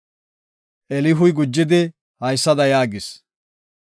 Elihuy gujidi haysada yaagis;